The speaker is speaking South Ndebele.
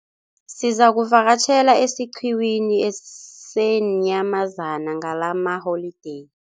Sizakuvakatjhela esiqhiwini seenyamazana ngalamaholideyi.